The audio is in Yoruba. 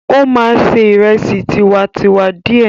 Ó máa ṣe ìrẹsì tiwantiwa díẹ̀.